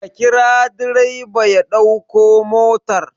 Ka kira direba ya ɗauki motar!